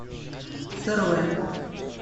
сырое